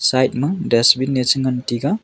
side ma dustbin e chengan taiga.